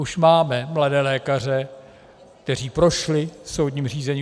Už máme mladé lékaře, kteří prošli soudním řízením.